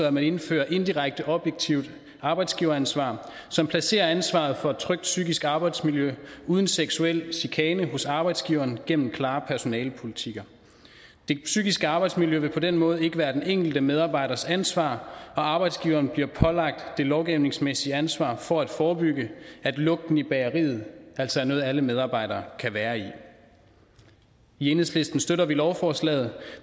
at man indfører indirekte objektivt arbejdsgiveransvar som placerer ansvaret for et trygt psykisk arbejdsmiljø uden seksuel chikane hos arbejdsgiveren gennem klare personalepolitikker det psykiske arbejdsmiljø vil på den måde ikke være den enkelte medarbejders ansvar og arbejdsgiveren bliver pålagt det lovgivningsmæssige ansvar for at forebygge at lugten i bageriet altså er noget alle medarbejdere kan være i i enhedslisten støtter vi lovforslaget